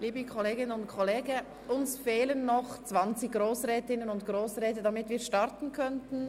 Liebe Kolleginnen und Kollegen, es fehlen uns noch zwanzig Grossrätinnen und Grossräte, damit wir starten können.